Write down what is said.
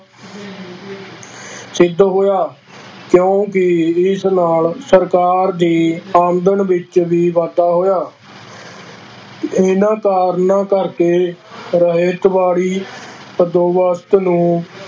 ਸਿੱਧ ਹੋਇਆ, ਕਿਉਂਕਿ ਇਸ ਨਾਲ ਸਰਕਾਰ ਦੀ ਆਮਦਨ ਵਿੱਚ ਵੀ ਵਾਧਾ ਹੋਇਆ ਇਹਨਾਂ ਕਾਰਨਾਂ ਕਰਕੇ ਰਵਾਇਤਵਾੜੀ ਬੰਦੋਬਸਤ ਨੂੰ